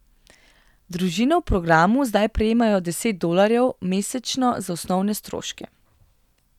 Družine v programu zdaj prejemajo deset dolarjev mesečno za osnovne stroške.